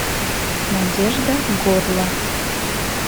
надежда горло